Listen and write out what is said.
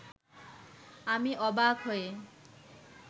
আমি অবাক হয়ে